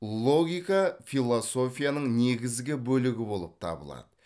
логика философияның негізгі бөлігі болып табылады